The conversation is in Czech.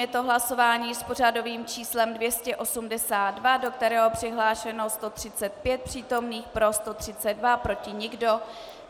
Je to hlasování s pořadovým číslem 282, do kterého přihlášeno 135 přítomných, pro 132, proti nikdo.